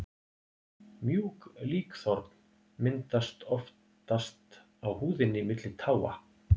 Mjúk líkþorn myndast oftast á húðinni milli táa.